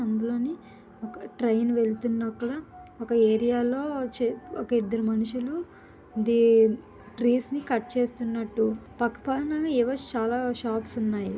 Train వెళుతున్న అక్కడ ఒక ఏరియా లో ఒక ఇద్దరు మనుష్యులు ట్రీస్ ని కట్ చేస్తున్నట్లు పక్క పక్కన ఏవో షాపులు ఉన్నాయి.